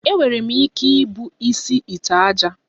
Enwere m ike ibu isi ite ájá